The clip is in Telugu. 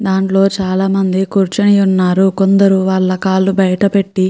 దాన్లో చాలా చాలా మంది కూర్చుని ఉన్నారు.కొందరు కాళ్ళు బయట పెట్టి--